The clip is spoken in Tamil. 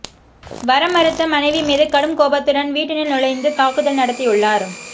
வரமறுத்த மனைவி மீது கடும் கோபத்துடன் வீட்டினுள் நுழைந்து தாக்குதல் நடத்தியுள்ளார்